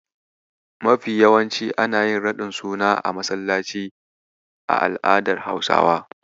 Mafi yawanci ana yin raɗin suna a masallaci a al'adar Hausawa.